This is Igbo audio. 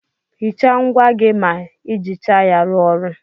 Hicha ngwá gị ma ijicha ya ruo ọrụ.